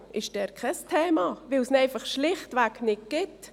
ÖV ist dort kein Thema, weil es ihn einfach schlichtweg nicht gibt.